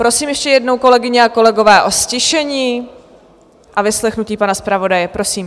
Prosím ještě jednou, kolegyně a kolegové, o ztišení a vyslechnutí pana zpravodaje, prosím.